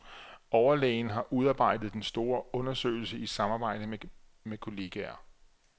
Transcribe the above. Overlægen har udarbejdet den store undersøgelse i samarbejde med kolleger.